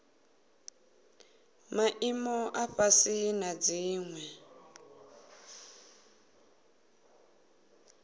maimo a fhasi na dziwe